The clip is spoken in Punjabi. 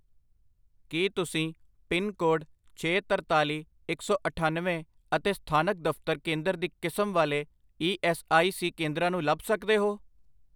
ਕੀ ਤੁਸੀਂ ਪਿੰਨ ਕੋਡ ਛੇ, ਤਰਤਾਲੀ, ਇੱਕ ਸੌ ਅਠੱਨਵੇਂ ਅਤੇ ਸਥਾਨਕ ਦਫਤਰ ਕੇਂਦਰ ਦੀ ਕਿਸਮ ਵਾਲੇ ਈ ਐੱਸ ਆਈ ਸੀ ਕੇਂਦਰਾਂ ਨੂੰ ਲੱਭ ਸਕਦੇ ਹੋ?